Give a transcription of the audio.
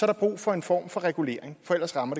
der brug for en form for regulering for ellers rammer